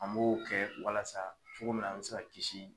An b'o kɛ walasa cogo min na an bɛ se ka kisi